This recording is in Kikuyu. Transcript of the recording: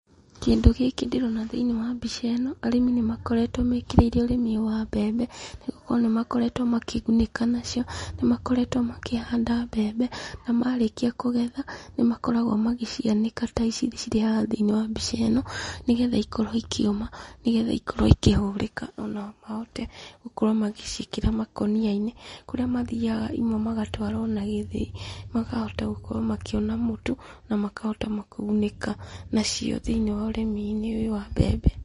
Kĩndũ gĩki ndĩrona thĩiniĩ wa mbica ĩno, arĩmi nĩmakoretwo mekĩrĩire ũrĩmi ũyũ wa mbembe, nĩgũkorwo nĩmakoretwo makĩgunĩka nacio. Nĩmakoretwo makĩhanda mbembe, na marĩkia kũgetha, nimakoragwo magĩcianĩka ta ici cirĩ haha thĩiniĩ wa mbica ĩno, nĩgetha ikorwo ikĩũma, nĩgetha ikorwo ikĩhũrĩka, ona mahote gũkorwo magĩciĩkĩra makũnia-inĩ, kũrĩa mathiaga imwe magatwara ona gĩthĩi, makahota gũkorwo makĩona mũtu, na makahota kũgunĩka nacio thĩiniĩ wa ũrĩmi-inĩ ũyũ wa mbembe.